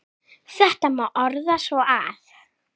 Þetta má orða svo að